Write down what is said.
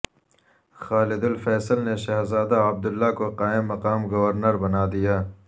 خالد Al Faisal نے شہزادہ Abdullah کو قائم مقام گورنر بنادیا